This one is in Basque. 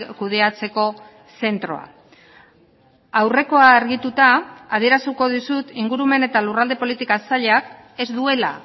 kudeatzeko zentroa aurrekoa argituta adieraziko dizut ingurumen eta lurralde politika sailak ez duela